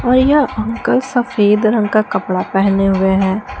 और यह अंकल सफेद रंग का कपड़ा पहने हुए हैं।